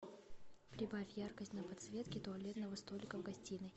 прибавь яркость на подсветке туалетного столика в гостиной